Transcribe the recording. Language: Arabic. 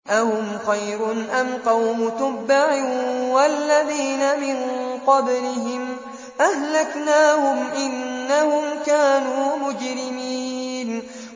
أَهُمْ خَيْرٌ أَمْ قَوْمُ تُبَّعٍ وَالَّذِينَ مِن قَبْلِهِمْ ۚ أَهْلَكْنَاهُمْ ۖ إِنَّهُمْ كَانُوا مُجْرِمِينَ